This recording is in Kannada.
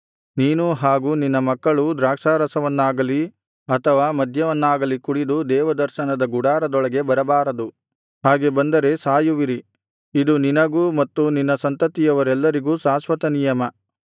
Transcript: ನೀನೂ ಹಾಗು ನಿನ್ನ ಮಕ್ಕಳೂ ದ್ರಾಕ್ಷಾರಸವನ್ನಾಗಲಿ ಅಥವಾ ಮದ್ಯವನ್ನಾಗಲಿ ಕುಡಿದು ದೇವದರ್ಶನದ ಗುಡಾರದೊಳಗೆ ಬರಬಾರದು ಹಾಗೆ ಬಂದರೆ ಸಾಯುವಿರಿ ಇದು ನಿನಗೂ ಮತ್ತು ನಿನ್ನ ಸಂತತಿಯವರೆಲ್ಲರಿಗೂ ಶಾಶ್ವತನಿಯಮ